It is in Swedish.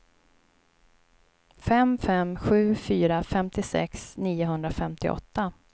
fem fem sju fyra femtiosex niohundrafemtioåtta